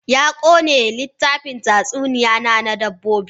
Ya ƙone littafin tatsuniya na, na dabbobi.